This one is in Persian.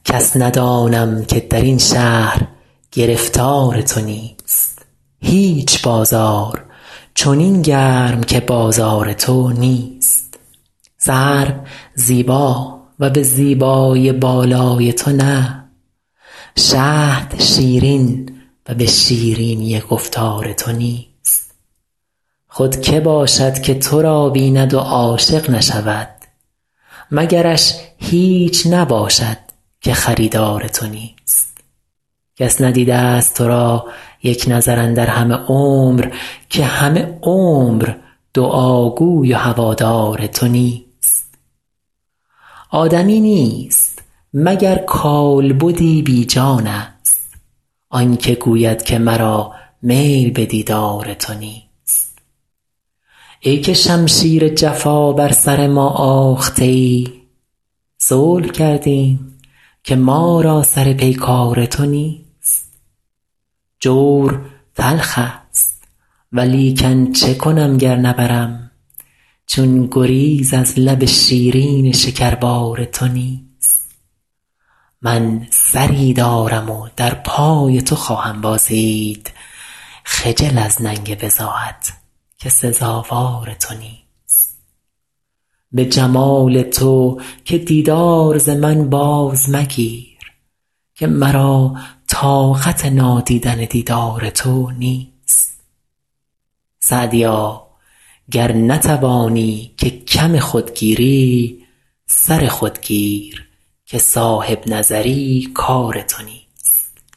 کس ندانم که در این شهر گرفتار تو نیست هیچ بازار چنین گرم که بازار تو نیست سرو زیبا و به زیبایی بالای تو نه شهد شیرین و به شیرینی گفتار تو نیست خود که باشد که تو را بیند و عاشق نشود مگرش هیچ نباشد که خریدار تو نیست کس ندیده ست تو را یک نظر اندر همه عمر که همه عمر دعاگوی و هوادار تو نیست آدمی نیست مگر کالبدی بی جانست آن که گوید که مرا میل به دیدار تو نیست ای که شمشیر جفا بر سر ما آخته ای صلح کردیم که ما را سر پیکار تو نیست جور تلخ ست ولیکن چه کنم گر نبرم چون گریز از لب شیرین شکربار تو نیست من سری دارم و در پای تو خواهم بازید خجل از ننگ بضاعت که سزاوار تو نیست به جمال تو که دیدار ز من باز مگیر که مرا طاقت نادیدن دیدار تو نیست سعدیا گر نتوانی که کم خود گیری سر خود گیر که صاحب نظر ی کار تو نیست